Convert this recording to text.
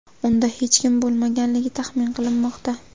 Unda hech kim bo‘lmaganligi taxmin qilinmoqda.